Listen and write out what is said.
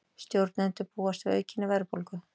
Stjórnendur búast við aukinni verðbólgu